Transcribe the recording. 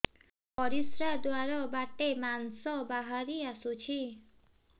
ପରିଶ୍ରା ଦ୍ୱାର ବାଟେ ମାଂସ ବାହାରି ଆସୁଛି